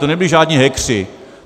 To nebyli žádní hackeři.